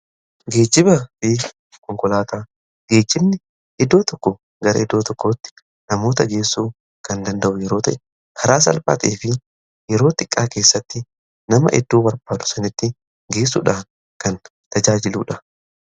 geejiba fi konkolaataa geejimni iddoo tokko gara iddoo tokkootti namoota geessuu kan danda'u yeroota haraa salphaatee fi yerootti qaakeessatti nama idduu warbaadhu sanitti geessuudhaan kan tajaajiluudha